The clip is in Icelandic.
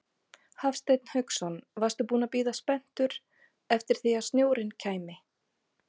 Hafsteinn Hauksson: Varstu búinn að bíða spenntur eftir því að snjórinn kæmi?